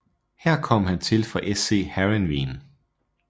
Her kom han til fra SC Heerenveen